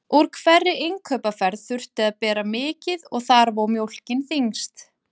Úr hverri innkaupaferð þurfti að bera mikið og þar vó mjólkin þyngst.